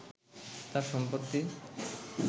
তার সম্পত্তি